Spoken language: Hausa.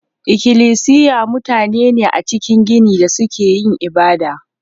Ikilisiya mutane ne a cikin gini da suke yin ibada.